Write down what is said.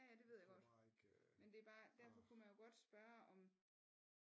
Ja ja det ved jeg godt men det er bare derfor kunne man jo godt spørge om